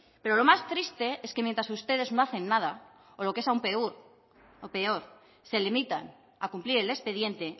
pero lo más triste es que mientras ustedes no hacen nada o lo que es aún peor se limitan a cumplir el expediente